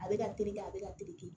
A bɛ ka terikɛ a bɛ ka terikɛ